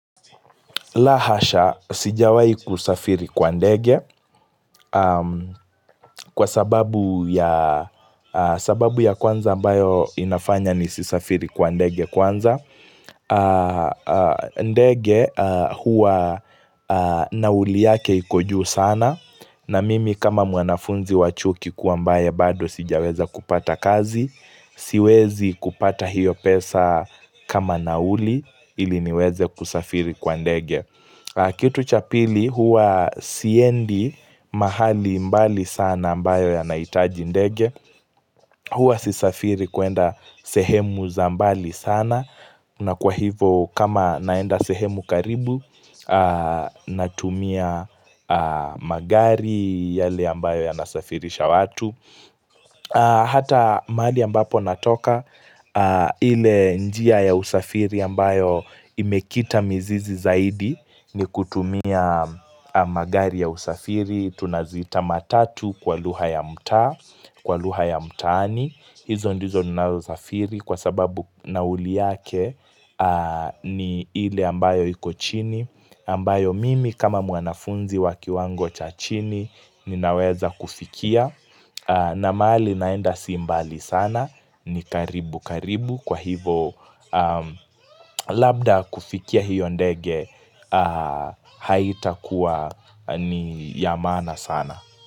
La hasha sijawahi kusafiri kwa ndege kwa sababu ya sababu ya kwanza ambayo inafanya nisisafiri kwa ndege kwanza ndege huwa nauli yake iko juu sana na mimi kama mwanafunzi wa chuo kikuu ambaye bado sijaweza kupata kazi siwezi kupata hiyo pesa kama nauli ili niweze kusafiri kwa ndege Kitu cha pili huwa siendi mahali mbali sana ambayo yanahitaji ndege Huwa sisafiri kuenda sehemu za mbali sana na kwa hivo kama naenda sehemu karibu Natumia magari yale ambayo yanasafirisha watu Hata mahali ambapo natoka ile njia ya usafiri ambayo imekita mizizi zaidi ni kutumia magari ya usafiri Tunaziita matatu kwa lugha ya mtaa Kwa lugha ya mtaani hizo ndizo ninao usafiri Kwa sababu nauli yake ni ile ambayo iko chini ambayo mimi kama mwanafunzi waki wango cha chini Ninaweza kufikia na mahali naenda si mbali sana ni karibu karibu Kwa hivo labda kufikia hiyo ndege haitakuwa ni ya maana sana.